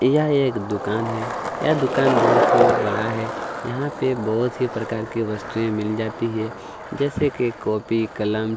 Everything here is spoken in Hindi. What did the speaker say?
यह एक दूकान है यह दूकान बहुत ही बड़ा है यहाँ पे बहुत ही प्रकार की वस्तुए मिल जाती है जैसे की कॉपी कलम--